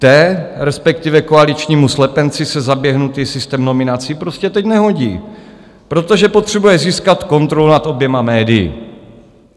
Té, respektive koaličnímu slepenci, se zaběhnutý systém nominací prostě teď nehodí, protože potřebuje získat kontrolu nad oběma médii.